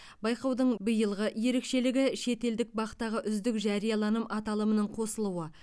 байқаудың биылғы ерекшелігі шетелдік бақ тағы үздік жарияланым аталымының қосылуы